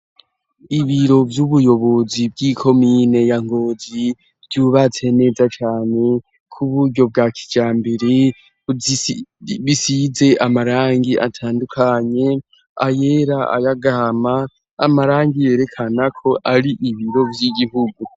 Ibiro vy'ubuyobozi bw'ikomine ya Ngozi, ryubatse neza cane kuburyo bwa kijambere, bisize amarangi atandukanye ayera, aya gahama, amarangi yerekanako ari ibiro vy'igihugu.